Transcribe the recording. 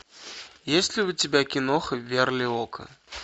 есть ли у тебя киноха верлиока